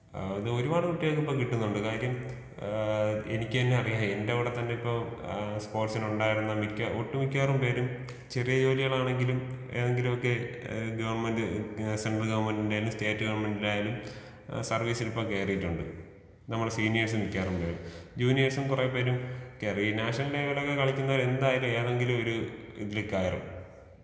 ആ ഇത് ഒരുപാട് കുട്ടികൾക്ക് ഇപ്പൊ കിട്ടുന്നുണ്ട് കാര്യം ആ എനിക്കെന്നെ അറിയാം എന്റവിടത്തന്നെ ഇപ്പൊ ആ സ്പോർട്സിനുണ്ടായിരുന്ന മിക്ക ഒട്ടുമിക്കവാറും പേരും ചെറിയ ജോലികളാണെങ്കിലും ഏതെങ്കിലും ഒക്കെ ഏ ഗവൺമെന്റ് ഏ സെൻട്രൽ ഗവണ്മെന്റിന്റെ ആയാലും സ്റ്റേറ്റ് ഗവൺമെന്റിന്റെ ആയാലും ഏ സർവീസിലിപ്പം കയറിയിട്ടുണ്ട് നമ്മളെ സീനിയേഴ്സ് മിക്കവാറും പേര് ജൂനിയേഴ്സും കൊറെ പേരും മിക്കവാറും ഈ നാഷണൽ ടീമിലൊക്കെ കളിക്കുന്നോരെന്തായാലും ഏതെങ്കിലൊരു ഇതില് കയറും.